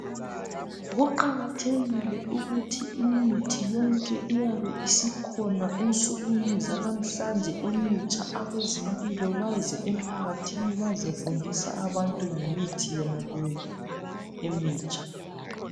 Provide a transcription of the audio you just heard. Kuqakathekile ukuthi imithi yonke eyabe sikhona ensukwini zanamuhlanje emintsha abezempilo bazempakathini bazefundisa ngemithi yona leyo emitsha